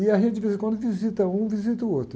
E a gente, de vez em quando, visita um, visita o outro.